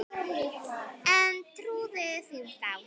En trúði því þá.